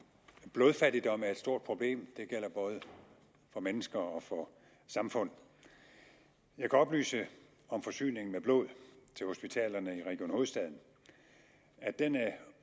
blodfattigdom er et stort problem det gælder både for mennesker og for samfund jeg kan oplyse om forsyningen af blod til hospitalerne i region hovedstaden at den er